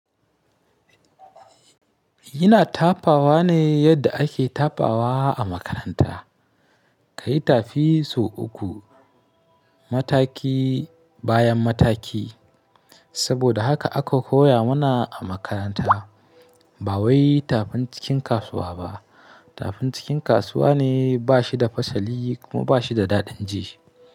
Ina tafawa ne yadda ake tafawa a makaranta. Ka yi tafi sau uku mataki bayan mataki. Saboda haka aka koya mana a makaranta. Ba wai tafin cikin kasuwa ba. Tafin cikin kasuwa ne ba shi da fasali kuma ba shi da daɗin ji.